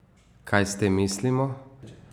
Kaj s tem mislimo?